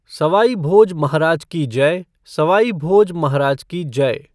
सवाईभोज महाराज की जय, सवाईभोज महाराज की जय!